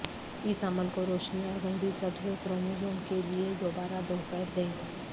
اس عمل کو روشنی اور گہری سبز کروموزوم کے لئے دوبارہ دوپہر دیں